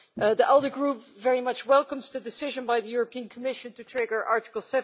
The ALDE Group very much welcomes the decision by the European Commission to trigger Article